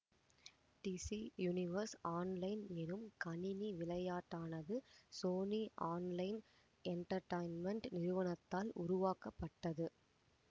DC universe online எனும் கணினி விளையாட்டானது சோனி ஆன்லைன் என்டேர்டைன்மென்ட் நிறுவனத்தால் உருவாக்கப்பட்டது